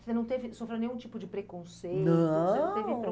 Você não teve, sofreu nenhum tipo de preconceito? Não.... Não teve...